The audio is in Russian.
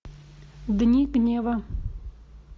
дни гнева